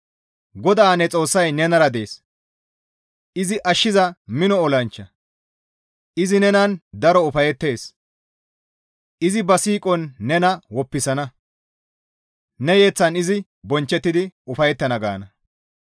GODAA ne Xoossay nenara dees; izi ashshiza mino olanchcha. Izi nenan daro ufayettees; izi ba siiqon nena woppisana; ne yeththan izi bonchchettidi ufayettana› gaana.